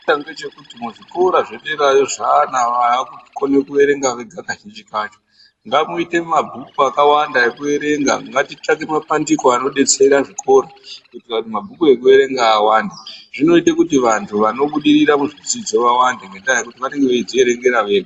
Chakanaka ngechekuti muzvikora zvederayo zvana vakukona kuerenga vega kazhinji kacho ngamuite mabhuku akawanda ekuerenga ngatitsvake mapandiko anodetsera zvikora kuitire kuti mabhuku ekuerenga awande zvinoita kuti vantu vanobudirira muzvidzidzo vawande ngendaa yekuti vanenge veidzierengera vega.